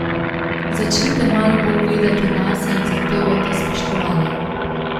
Začnite malo bolj gledati nase in zahtevajte spoštovanje.